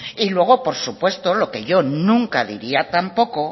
y luego por supuesto lo que yo nunca diría tampoco